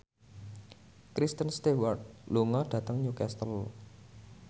Kristen Stewart lunga dhateng Newcastle